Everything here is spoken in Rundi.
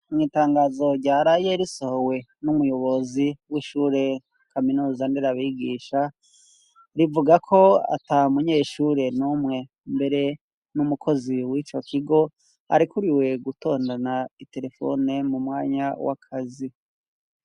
Mw'itangazo ryara yerisohowe n'umuyobozi w'ishure kaminosandere abigisha rivuga ko ata munyeshure n'umwe mbere n'umukozi w'ico kigo arikuriwe gutondana iterefone mu mwanya w'akazi.